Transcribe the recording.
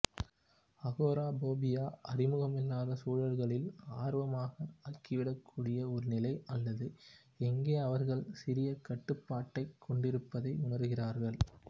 agoraphobia அறிமுகமில்லாத சூழல்களில் ஆர்வமாக ஆகிவிடக் கூடிய ஒரு நிலை அல்லது எங்கே அவர்கள் சிறிய கட்டுப்பாட்டைக் கொண்டிருப்பதை உணர்கிறார்கள்